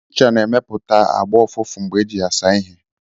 Ncha na-emepụta (agbọ́) ụfụfụ mgbe eji ya asa ihe.